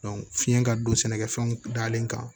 fiɲɛ ka don sɛnɛkɛfɛnw dalen kan